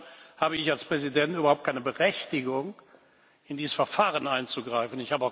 Insofern habe ich als Präsident überhaupt keine Berechtigung, in dieses Verfahren einzugreifen.